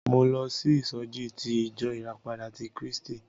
Mo lọ sí ìsọjí ti ìjọ ìràpadà ti Krístì.